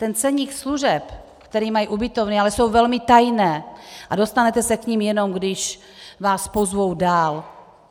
Ty ceníky služeb, které mají ubytovny, ale jsou velmi tajné a dostanete se k nim, jenom když vás pozvou dál.